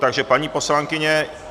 Takže paní poslankyně...